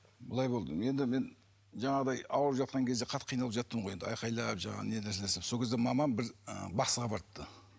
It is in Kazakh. былай болды енді мен жаңағыдай ауырып жатқан кезде қатты қиналып жаттым ғой енді айқайлап жаңағы сол кезде мамам бір ы бақсыға барыпты